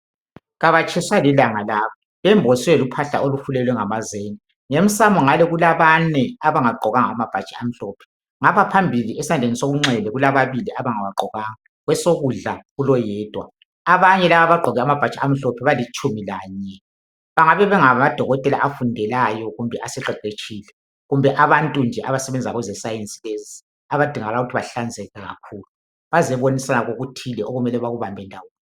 Kaba tshiswa lilanga laba bemboswe luphahla lwamazenge emsamo ngale kulabane abagqoke amabhatshi amhlaphe ngaphambili esandleni sonxele kulababili abangagqokanga kwesokudla kulo yedwa abanye laba abagqoke amabhatshi amhlophe balitshumi lanye bengabe bengabi fokotela abafundelayo kumbe asebeqeqetshile kumbe abantu nje abasebenza kweze science lezi abadingakala ukuba bahlanzeka kskhulu bazibonisa okuthile okumele bakubambe ndawone